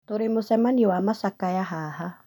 Tũrĩmũcemanĩo wa machakaya haha